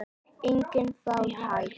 Engin fátækt.